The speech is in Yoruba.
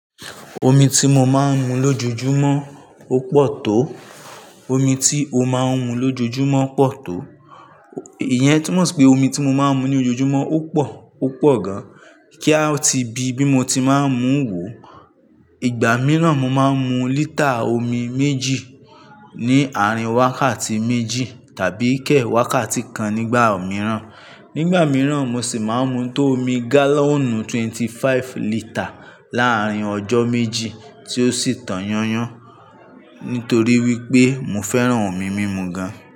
Omi tí mo máa ń mu lójoojúmọ́ ó pọ̀ tó, omi tí o máa ń mu lójoojúmọ́ pọ̀ tó. Ìyẹn túmọ̀ sí pé omi tí mo máa ń mu ní ojoojúmọ́ ó pọ̀, ó pọ̀ gan. Kí a ti bi, bí mo ti máa ń mú wò. Ìgbà mìíràn mo máa ń mu lítà omi méjì ní àárín wákàtí méjì tàbí kẹ̀ẹ̀ wákàtí kan nígbà mìíràn. Nígbà mìíràn mo sì máa ń mu tó omi gálọ́nù twenty-five lítà láàrín ọjọ́ méjì tí ó sì tàn yányan. Nítorí wípé mo fẹ́ràn omi mímu gan.